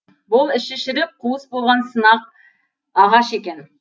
бұл іші шіріп қуыс болған сынық ағаш екен